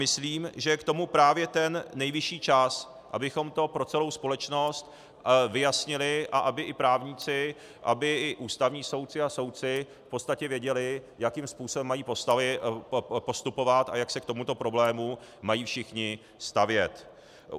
Myslím, že je k tomu právě ten nejvyšší čas, abychom to pro celou společnost vyjasnili a aby i právníci, aby i ústavní soudci a soudci v podstatě věděli, jakým způsobem mají postupovat a jak se k tomuto problému mají všichni stavět.